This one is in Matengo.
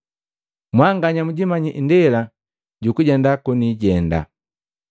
Mwanganya mjimanyi indela jukujenda konijenda.”